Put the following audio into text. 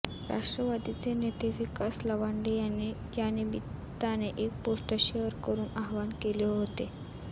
राष्ट्रवादीचे नेते विकास लवांडे यांनी यानिमित्ताने एक पोस्ट शेअर करून आवाहन केले होते